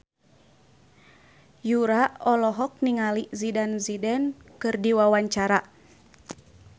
Yura olohok ningali Zidane Zidane keur diwawancara